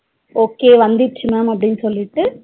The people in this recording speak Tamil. Okay வந்துருச்சு ma'am அப்டினு சொல்லிட்டு